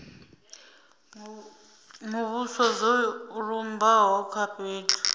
muvhuso zwo lumbaho kha fhethu